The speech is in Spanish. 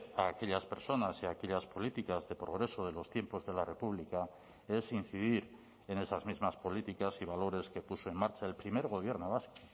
a aquellas personas y a aquellas políticas de progreso de los tiempos de la república es incidir en esas mismas políticas y valores que puso en marcha el primer gobierno vasco